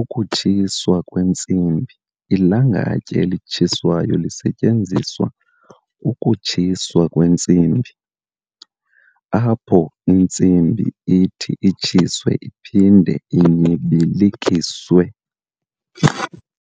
ukutshiswa kwentsimbi Ilangatye elitshisayo lisetyenziswa ukutshiswa kwentsimbi, apho intsimbi ithi itshiswe iphinde inyibilikiswe.